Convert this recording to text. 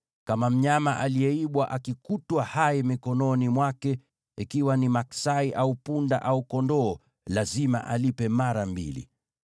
“Kama mnyama aliyeibwa akikutwa hai mikononi mwake, ikiwa ni maksai au punda au kondoo, lazima alipe mara mbili.